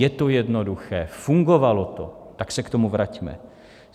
Je to jednoduché, fungovalo to, tak se k tomu vraťme.